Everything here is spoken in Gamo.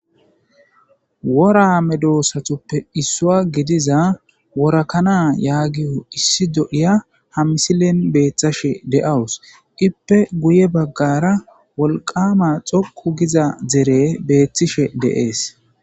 wora medoossatuppe issua gidiza worakana yaagiyo issi do7iya hammisileen beeththashe de7awus ippe guye baggara wolqama xoqu giza dere beeththishe deees